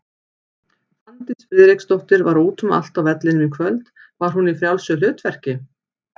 Fanndís Friðriksdóttir var út um allt á vellinum í kvöld, var hún í frjálsu hlutverki?